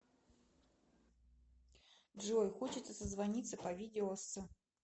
джой хочется созвониться по видео с